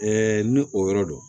ni o yɔrɔ do